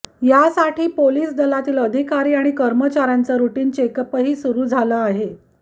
यासाठी पोलीस दलातील अधिकारी आणि कर्मचाऱ्यांचं रुटीनं चेकअपही सुरु झालं आहे